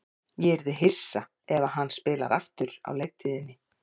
Ég yrði hissa ef hann spilar aftur á leiktíðinni.